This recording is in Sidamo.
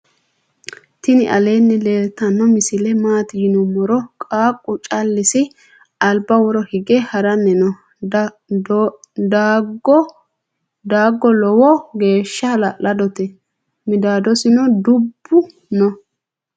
tini aleni leltano misile mati yinumoro .qaqu calichisi alba woro hige harani noo. dago loowo gesha ha'ladote midasonni duubu noo.